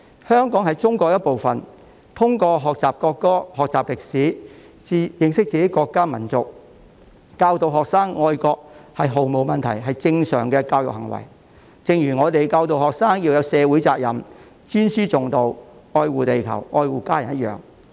香港是中國的一部分，通過學習國歌、學習歷史，認識自己的國家、民族，教導學生愛國，是毫無問題及正常的教育行為，正如我們教導學生要有社會責任、尊師重道、愛護地球和家人一樣。